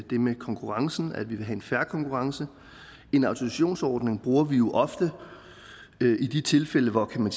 det med konkurrencen nemlig at vi vil have en fair konkurrence en autorisationsordning bruger vi jo ofte i de tilfælde hvor man